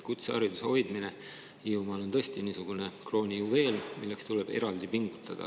Kutsehariduse hoidmine Hiiumaal on tõesti niisugune kroonijuveel, milleks tuleb eraldi pingutada.